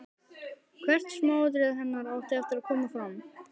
Hvert smáatriði hennar átti eftir að koma fram.